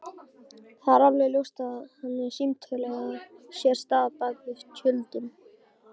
Það er alveg ljóst að þannig símtöl eiga sér stað bak við tjöldin.